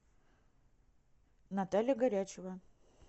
наталья горячева